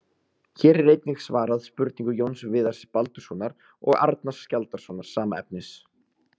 Hér er einnig svarað spurningu Jóns Viðars Baldurssonar og Arnars Skjaldarsonar, sama efnis.